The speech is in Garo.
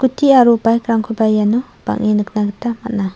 aro bike-rangkoba iano bange nikna gita man·a.